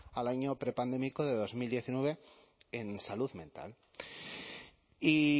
al año prepandémico de dos mil diecinueve en salud mental y